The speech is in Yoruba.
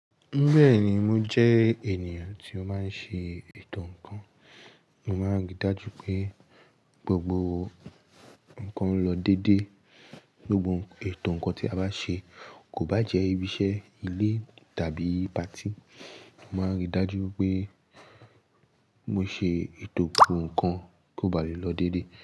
Bẹ́ẹ̀ni, mo jẹ́ ènìyàn tí ó máa ń ṣe ètò ǹkan, mo máa ń rí dájú pé gbogbo ǹkan lọ dédé. Gbogbo ètò ǹkan tí a bá ṣe kò bá jẹ́ ibiṣẹ́ ilé tàbí patí, mo máa ń rí dájú pé mo ṣe ètò gbogbo ǹkan kó bá lè lọ dédé.